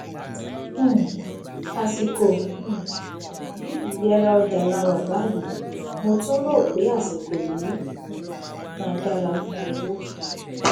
um àsìkò um yìí iyẹra ọjà láwà báyìí mo tún ro pe àsìkò yìí um má dára fún owó